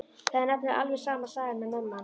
Það er nefnilega alveg sama sagan með mömmu hans.